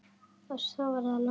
Og svo voru það lömbin.